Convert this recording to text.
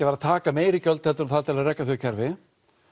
að taka meiri gjöld en þarf til að reka þau kerfi